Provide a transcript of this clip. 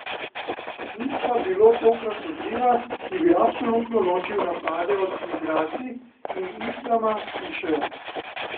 Ni pa bilo tokrat odziva, ki bi absolutno ločil napade od migracij in islama, pišejo.